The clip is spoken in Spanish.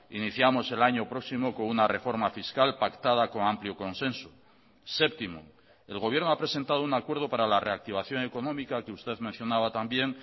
iniciamos el año próximo con una reforma fiscal pactada con amplio consenso séptimo el gobierno ha presentado un acuerdo para la reactivación económica que usted mencionaba también